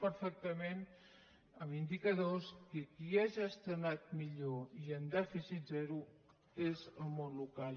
perfectament amb indicadors que qui ha gestionat millor i amb dèficit zero és el món local